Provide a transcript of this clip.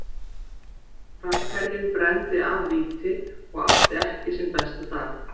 Framherjinn brenndi af víti og átti ekki sinn besta dag.